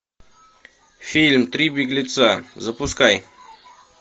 фильм три беглеца запускай